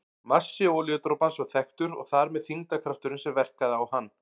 Massi olíudropans var þekktur og þar með þyngdarkrafturinn sem verkaði á hann.